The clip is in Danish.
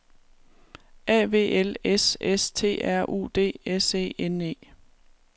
A V L S S T R U D S E N E